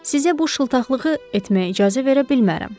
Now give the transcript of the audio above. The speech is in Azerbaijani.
Sizə bu şıltaqlığı etməyə icazə verə bilmərəm.